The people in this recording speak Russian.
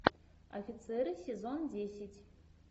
офицеры сезон десять